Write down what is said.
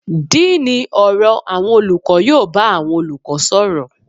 Díínì ọ̀rọ̀ àwọn olùkọ́ yóò bá àwọn olùkọ́ sọ̀rọ̀.